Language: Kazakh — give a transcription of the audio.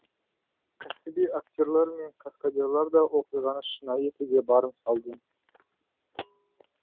кәсіби актерлар мен каскадерлар да оқиғаны шынайы етуге барын салды